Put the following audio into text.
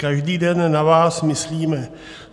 Každý den na vás myslíme.